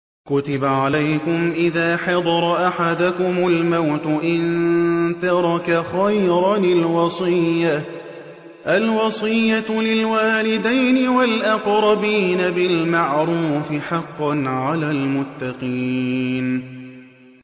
كُتِبَ عَلَيْكُمْ إِذَا حَضَرَ أَحَدَكُمُ الْمَوْتُ إِن تَرَكَ خَيْرًا الْوَصِيَّةُ لِلْوَالِدَيْنِ وَالْأَقْرَبِينَ بِالْمَعْرُوفِ ۖ حَقًّا عَلَى الْمُتَّقِينَ